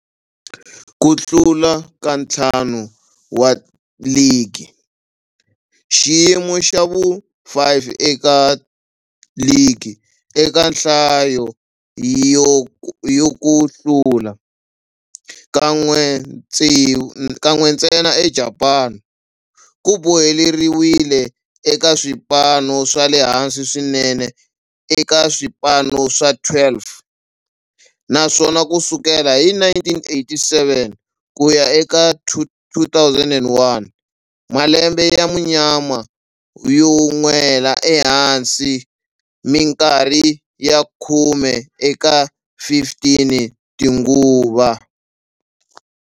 Ku hlula ka ntlhanu wa ligi, xiyimo xa vu-5 eka ligi eka nhlayo ya ku hlula, kan'we ntsena eJapani, ku boheleriwile eka swipano swa le hansi swinene eka swipano swa 12, naswona ku sukela hi 1987 ku ya eka 2001, malembe ya munyama yo nwela ehansi mikarhi ya khume eka 15 tinguva.